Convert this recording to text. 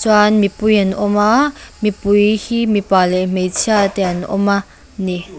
chuan mipui an awm a mipui hi mipa leh hmeichhia te an awm a ni.